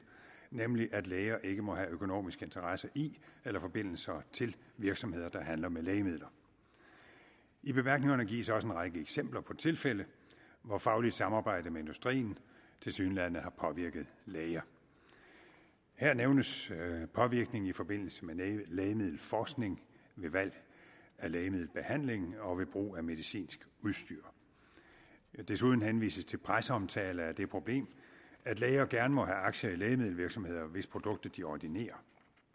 nemlig at læger ikke må have økonomisk interesse i eller forbindelser til virksomheder der handler med lægemidler i bemærkningerne gives også en række eksempler på tilfælde hvor fagligt samarbejde med industrien tilsyneladende har påvirket læger her nævnes påvirkningen i forbindelse med lægemiddelforskning ved valg af lægemiddelbehandling og ved brug af medicinsk udstyr desuden henvises til presseomtale af det problem at læger gerne må have aktier i lægemiddelvirksomheder hvis produkter de ordinerer